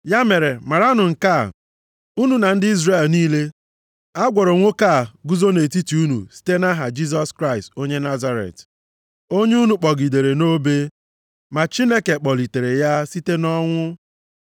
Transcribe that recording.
ya mere maranụ nke a, unu na ndị Izrel niile, a gwọrọ nwoke a guzo nʼetiti unu site nʼaha Jisọs Kraịst onye Nazaret, onye unu kpọgidere nʼobe, ma Chineke kpọlitere ya site nʼọnwụ.